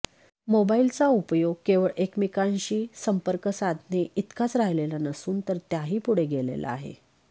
मोबाईलचा उपयोग केवळ एकमेकांशी संपर्क साधणे इतकाच राहिलेला नसून तर त्याहीपुढे गेलेला आहे